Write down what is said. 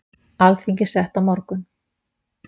Alþingi sett á morgun